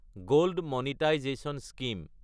gold monetisation scheme